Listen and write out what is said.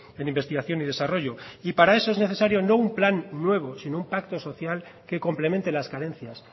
en investigación y desarrollo y para eso es necesario no un plan nuevo sino un pacto social que complemente las carencias